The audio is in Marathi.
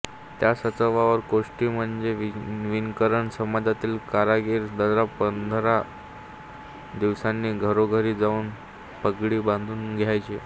त्या साचावर कोष्टी म्हणजे विणकर समाजातील कारागीर दर पंधरा दिवसांनी घरोघरी जाऊन पगडी बांधून द्यायचे